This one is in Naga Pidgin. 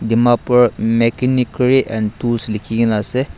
Dimapur Makhinikery and Tools likhikena ase.